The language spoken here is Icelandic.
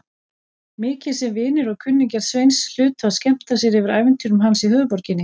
Mikið sem vinir og kunningjar Sveins hlutu að skemmta sér yfir ævintýrum hans í höfuðborginni.